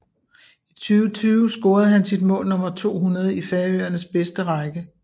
I 2020 scorede han sit mål nummer 200 i Færøernes bedste række